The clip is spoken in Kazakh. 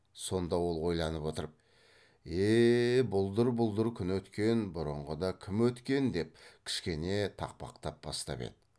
сонда ол ойланып отырып е е бұлдыр бұлдыр күн өткен бұрынғыда кім өткен деп кішкене тақпақтап бастап еді